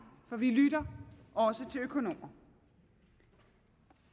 for vi lytter også til økonomer